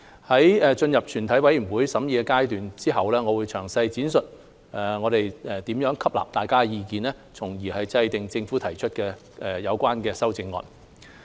在進入全體委員會審議階段後，我會詳細闡述我們如何吸納大家的意見，從而制訂政府提出的有關修正案。